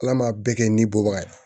Ala m'a bɛɛ kɛ ni bɔbaga ye